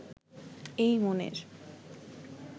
এই মনের